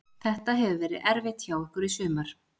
Þetta hefur verið erfitt hjá okkur í sumar.